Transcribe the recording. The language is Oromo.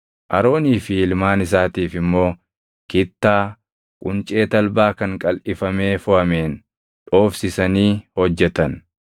Aroonii fi ilmaan isaatiif immoo kittaa quncee talbaa kan qalʼifamee foʼameen dhoofsisanii hojjetan;